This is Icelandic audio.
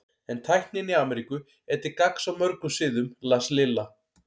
En tæknin í Ameríku er til gagns á mörgum sviðum las Lilla.